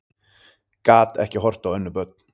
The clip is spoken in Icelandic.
Gat ekki horft á önnur börn